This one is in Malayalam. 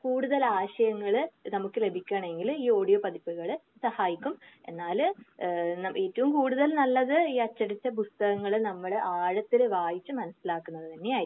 കൂടുതൽ ആശയങ്ങൾ നമുക്ക് ലഭിക്കുകയാണെങ്കില് ഈ ഓഡിയോ പതിപ്പുകൾ സഹായിക്കും. എന്നാൽ ഏഹ് ഏറ്റവും കൂടുതൽ നല്ലത് ഈ അച്ചടിച്ച പുസ്തകങ്ങൾ നമ്മള് ആഴത്തിൽ വായിച്ച് മനസ്സിലാക്കുന്നത് തന്നെ ആയിരിക്കും.